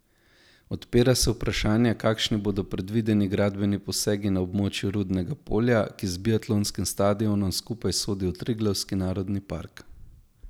Odpira se vprašanje, kakšni bodo predvideni gradbeni posegi na območju Rudnega polja, ki z biatlonskim stadionom skupaj sodi v Triglavski narodni park.